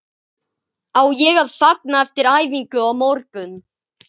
Á ég að fagna eftir æfingu á morgun?